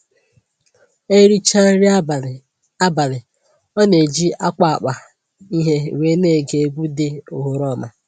E richaa nri abalị, abalị, ọ na-eji akwa akpa ihe wee na-ege egwu dị oghoroma